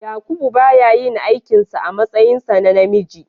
Yakubu ba ya yin aikin sa a matsayinsa na namiji.